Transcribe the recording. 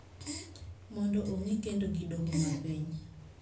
Mondo ong`I kendo gi doho mapiny